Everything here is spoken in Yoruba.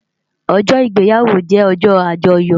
Òjò igbéyàwó jè òjò ájòyò